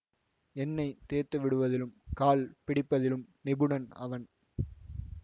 எண்ணெய் தேய்த்துவிடுவதிலும் கால் பிடிப்பதிலும் நிபுணன் அவன்